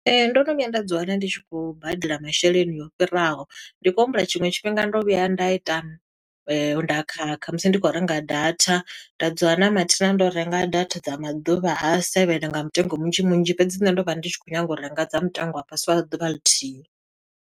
Ee, ndo no vhuya nda dzi wana ndi tshi khou badela masheleni o fhiraho. Ndi khou humbula tshiṅwe tshifhinga ndo vhuya nda ita, nda khakha musi ndi khou renga data nda dzi wana mathina ndo renga data dza maḓuvha a seven nga mutengo munzhi munzhi, fhedzi nṋe ndo vha ndi tshi khou nyaga u renga dza mutengo wa fhasi, wa ḓuvha lithihi.